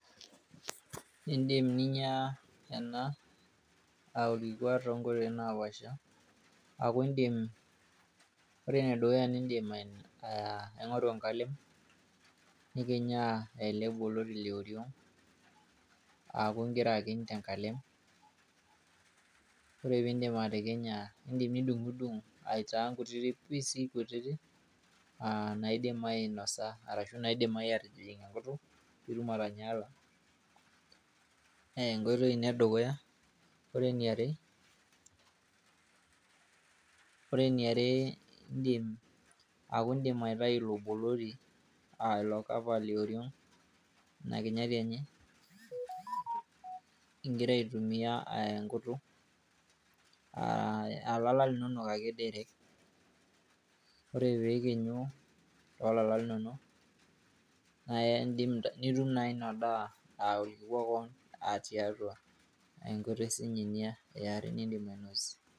In'dim ninya ena aa orkikwa too nkoitoi naapaasha ore enedukuya in'dim aing'oru enkalem nikinyaa ele boloti le oriong' aaku igira akiny te nkalem ore peyiee indip atikinya nidung'udung' aitaa inkutitik CS [pice]CS kutitik naidim ainosa arashu maidimayu atijing' enkutuk pitum atanyaala naa enkoitoi ina edukuya ore eneare aaku indim aitayu ilo boloti aa ilo CS[Cover]CS le oriong' inakinyati enye igira aitumia enkutuk aa ilala linonok ake CS[direct]CS ore peyiee ikinyu nitum naa ina daa aa orkikwa keon tiatua enkoitoi sinye ina niin'dim ainosie.